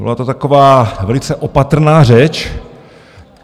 Byla to taková velice opatrná řeč.